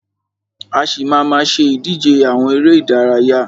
A ṣì má a má ṣe ìdíje àwọn eré ìdárayá.